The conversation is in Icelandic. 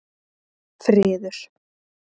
Friður